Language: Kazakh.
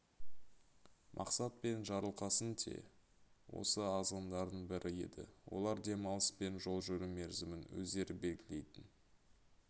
мақсат мен жарылқасын те осы азғындардың бірі еді олар демалыс пен жол жүру мерзімін өздері белгілейтін